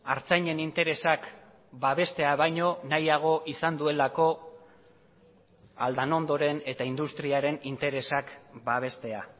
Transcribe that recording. artzainen interesak babestea baino nahiago izan duelako aldanondoren eta industriaren interesak babestea